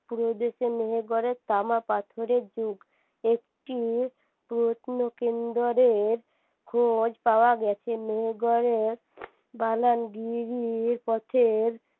মেহেরগড়ের তামা পাথরের যুগ একটি প্রত্ন কেন্দরের খোঁজ পাওয়া গেছে মেহেরগড়ের পথের